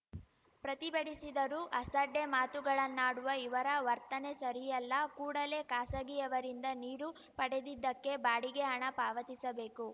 ಪ್ರತಿಭಟಿಸಿದರೂ ಅಸಡ್ಡೆ ಮಾತುಗಳನ್ನಾಡುವ ಇವರ ವರ್ತನೆ ಸರಿಯಲ್ಲ ಕೂಡಲೇ ಖಾಸಗೀಯವರಿಂದ ನೀರು ಪಡೆದಿದ್ದಕ್ಕೆ ಬಾಡಿಗೆ ಹಣ ಪಾವತಿಸಬೇಕು